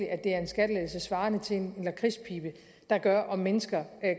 at det er en skattelettelse svarende til en lakridspibe der gør at mennesker